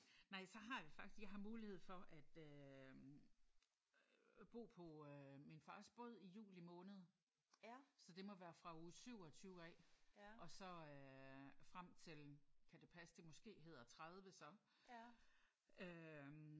Nej så har vi faktisk jeg har mulighed for at øh at bo på øh min fars båd i juli måned så det må være fra uge 27 af og så øh frem til kan det passe det måske hedder 30 så?